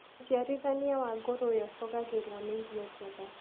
ũciarithania wa ngũrũwe ũcogagĩrwo nĩ irio njega.